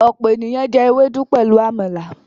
ọpọ ènìyàn jé Ewédú pẹlú àmàlà.